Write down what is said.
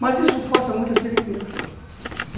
Mas isso força muito a seringueira.